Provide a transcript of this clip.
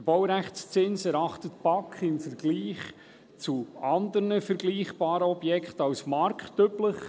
Die BaK erachtet den Baurechtszins im Vergleich zu anderen vergleichbaren Objekten als marktüblich.